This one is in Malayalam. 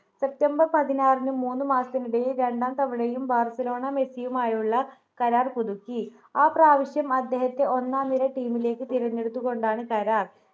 september പതിനാറിന് മൂന്ന് മാസത്തിനിടയിൽ രണ്ടാം തവണയും ബാർസലോണ മെസ്സിയുമായുള്ള കരാർ പുതുക്കി ആ പ്രാവശ്യം അദ്ദേഹത്തെ ഒന്നാം നിര ടീമിലേക്ക് തിരഞ്ഞെടുത്തുകൊണ്ടാണ് കരാർ